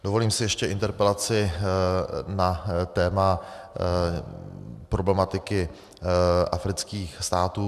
Dovolím si ještě interpelaci na téma problematiky afrických států.